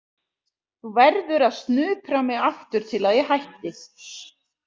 Þú verður að snupra mig aftur til að ég hætti.